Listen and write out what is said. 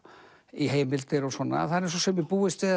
í heimildir og svona það er eins og sumir búist við